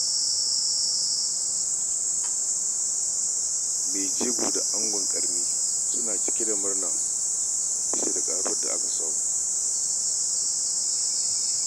Mai jego da angon-ƙarni suna cike da murna bisa ƙaruwar da suka samu.